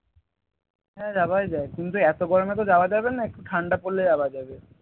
হ্যাঁ যাওয়াই যায় কিন্তু এইতো গরমে তো যাওয়া যাবে না একটু ঠান্ডা পড়লে যাওয়া যাবে